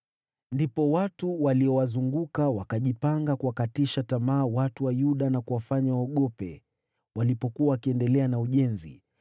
Ndipo watu waliowazunguka wakajipanga kuwakatisha tamaa watu wa Yuda na kuwafanya waogope walipokuwa wakiendelea na ujenzi.